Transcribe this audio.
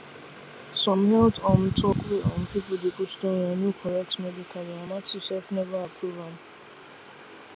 some health um talk wey um people dey post online no correct medically and matthew self never approve am